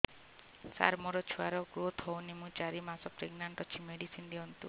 ସାର ମୋର ଛୁଆ ର ଗ୍ରୋଥ ହଉନି ମୁ ଚାରି ମାସ ପ୍ରେଗନାଂଟ ଅଛି ମେଡିସିନ ଦିଅନ୍ତୁ